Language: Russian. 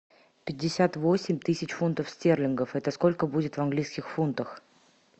пятьдесят восемь тысяч фунтов стерлингов это сколько будет в английских фунтах